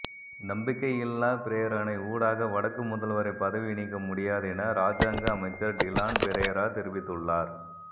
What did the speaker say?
நம்பிக்கையில்லாப் பிரேரணை ஊடாக வடக்கு முதல்வரை பதவி நீக்க முடியாது என இராஜாங்க அமைச்சர் டிலான் பெரேரா தெரிவித்துள்ளார்